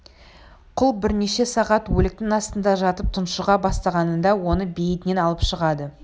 құл бірнеше сағат өліктің астында жатып тұншыға бастағанында оны бейіттен алып шығады